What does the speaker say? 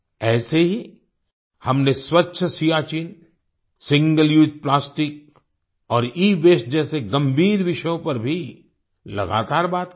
ऐसे ही हमने स्वच्छ सियाचिन सिंगल उसे प्लास्टिक और इवास्ते जैसे गंभीर विषयों पर भी लगातार बात की है